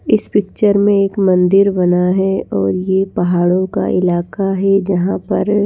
इस पिक्चर में एक मंदिर बना है और यह पहाड़ों का इलाका है जहां पर--